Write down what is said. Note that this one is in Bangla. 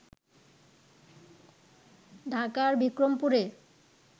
ঢাকার বিক্রমপুরে